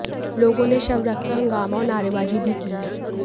लोगों ने शव रखकर हंगामा और नारेबाजी भी की